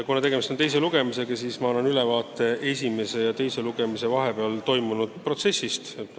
Kuna tegemist on teise lugemisega, siis annan ülevaate esimese ja teise lugemise vahepeal toimunud protsessist.